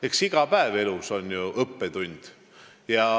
Eks iga päev elus ole ju õppetund.